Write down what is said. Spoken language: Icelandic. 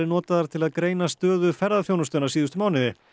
notaðar til að greina stöðu ferðaþjónustunnar síðustu mánuði